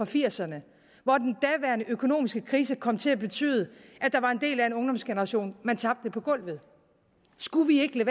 firserne hvor den daværende økonomiske krise kom til at betyde at der var en del af en ungdomsgeneration man tabte på gulvet skulle vi ikke